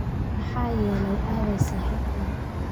Maxaa yeelay aaway saaxiibkaa?